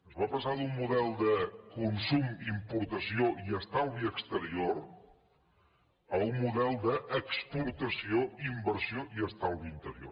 es va passar d’un model de consum importació i estalvi exterior a un model d’exportació inversió i estalvi interior